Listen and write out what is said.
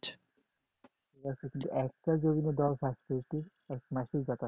একটা জমিতে দল চাষ করেছে এক মাসে যথেষ্ট